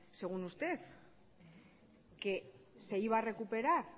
según usted que se iba a recuperar